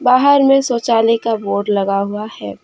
बाहर में शौचालय का बोर्ड लगा हुआ है।